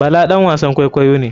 Bala ɗan wasan kwaikwayo ne.